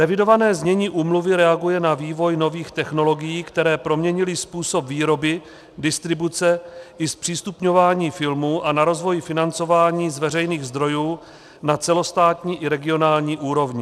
Revidované znění úmluvy reaguje na vývoj nových technologií, které proměnily způsob výroby, distribuce i zpřístupňování filmů a na rozvoj financování z veřejných zdrojů na celostátní i regionální úrovni.